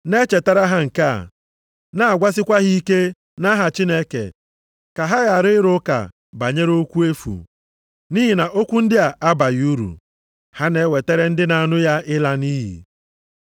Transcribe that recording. Na-echetara ha nke a, na-agwasikwa ha ike nʼaha Chineke ka ha ghara ịrụ ụka banyere okwu efu. Nʼihi na okwu ndị a abaghị uru, ha na-ewetara ndị na-anụ ya ịla nʼiyi.